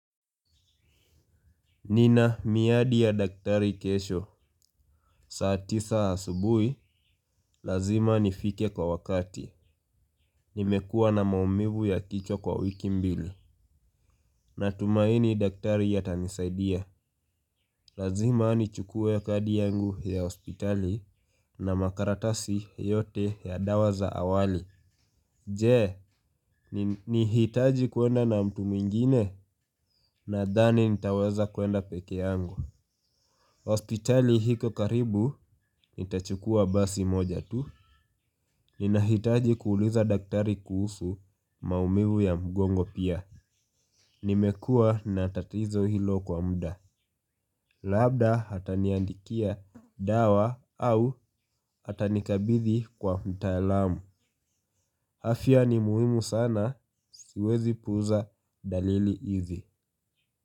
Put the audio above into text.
Nina miadi ya daktari kesho. Saa tisa asubuhi. Lazima nifike kwa wakati. Nimekuwa na maumivu ya kichwa kwa wiki mbili. Natumaini daktari atanisaidia. Lazima nichukue kadi yangu ya hospitali na makaratasi yote ya dawa za awali. Je, nihitaji kwenda na mtu mwingine. Nadhani nitaweza kwenda peke yangu. Hospitali iko karibu nitachukua basi moja tu. Ninahitaji kuuliza daktari kuhusu maumivu ya mgongo pia. Nimekuwa na tatizo hilo kwa muda. Labda ataniandikia dawa au atanikabidhi kwa mtaalamu. Afya ni muhimu sana siwezi puuza dalili hizi.